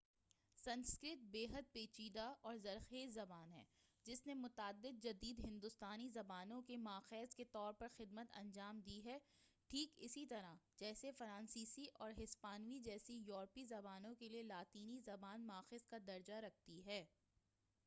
سنسکرت بیحد پیچیدہ اور زرخیز زبان ہے جس نے متعدد جدید ہندوستانی زبانوں کے ماخذ کے طور پر خدمت انجام دی ہے ٹھیک اسی طرح جیسے فرانسیسی اور ہسپانوی جیسی یوروپی زبانوں کیلئے لاطینی زبان ماخذ کا درجہ رکھتی ہے